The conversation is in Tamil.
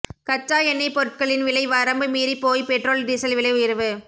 கச்சா எண்ணெய் பொருட்களின் விலை வரம்பு மீறி போய் பெட்ரோல் டீசல் விலை உயர்வு